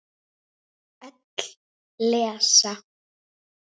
Öll lesa.